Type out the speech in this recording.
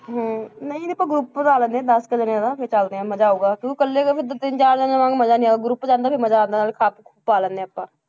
ਹਮ ਨਹੀਂ ਆਪਾਂ group ਬਣਾ ਲੈਂਦੇ ਹਾਂ ਦਸ ਕੁ ਜਾਣਿਆਂ ਦਾ, ਫਿਰ ਚੱਲਦੇ ਹਾਂ, ਮਜ਼ਾ ਆਊਗਾ ਕਿਉਂਕਿ ਇਕੱਲੇ ਗਏ ਫਿਰ ਤਾਂ ਤਿੰਨ ਚਾਰ ਜਾਣਿਆ ਨਾਲ ਮਜ਼ਾ ਨੀ ਆਊ group 'ਚ ਜਾਂਦੇ ਫਿਰ ਮਜ਼ਾ ਆਉਂਦਾ ਨਾਲੇ ਖੱਪ ਪਾ ਲੈਂਦੇ ਹਾਂ ਆਪਾਂ,